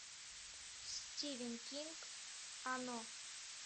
стивен кинг оно